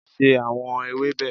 se awọn ewebe!